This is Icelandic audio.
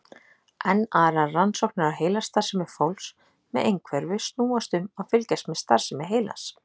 Enn aðrar rannsóknir á heilastarfsemi fólks með einhverfu snúast um að fylgjast með starfsemi heilans.